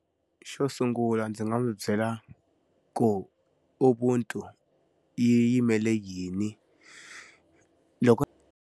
Xo sungula ndzi nga n'wi byela ku ubuntu yi yimele yini. Loko.